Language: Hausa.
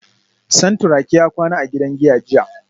Santuraki ya kwana a gidan giya jiya